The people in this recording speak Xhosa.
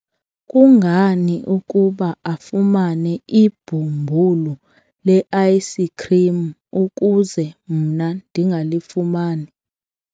kungani ukuba afumane ibhumbulu le-ayisikhrim ukuze mna ndingalifumani?